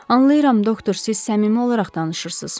Anlayıram, doktor, siz səmimi olaraq danışırsız.